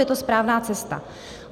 Je to správná cesta.